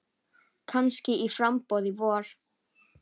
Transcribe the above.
Kannski í framboð í vor.